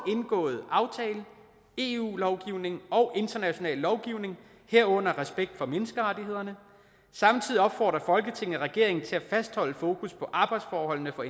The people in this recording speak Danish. indgåede aftale eu lovgivningen og international lovgivning herunder respekt for menneskerettighederne samtidig opfordrer folketinget regeringen til at fastholde fokus på arbejdsforholdene for